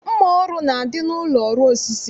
Mma ọrụ na-adị n'ụlọ ọrụ osisi